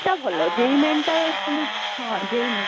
ଟା ଭଲ JEE main ଟା ତମ ହଁ JEE main